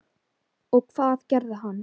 Og hvað gerði hann?